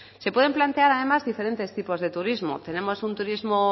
se pueden plantear además diferentes tipos de turismo tenemos un turismo